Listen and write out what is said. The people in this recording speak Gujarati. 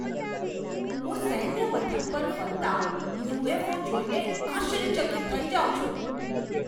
હું સૈન્ય મથક પર ફરતા યુ.એફ.ઓ. જોઈને આશ્ચર્યચકિત થઈ જાઉં છું.